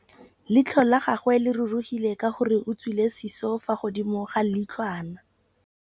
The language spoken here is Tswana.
Leitlhô la gagwe le rurugile ka gore o tswile sisô fa godimo ga leitlhwana.